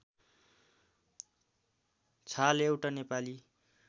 छाल एउटा नेपाली